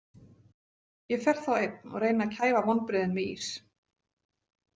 Ég fer þá einn og reyni að kæfa vonbrigðin með ís.